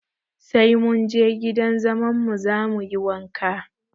Sai mun je gidan zaman mu za mu yi wanka